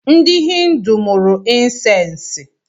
Ndị hindu mụrụ insensi